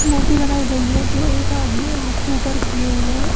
ये मूर्ति बनाई गई है जो एक आदमी हाथ को उपर किये हुआ है।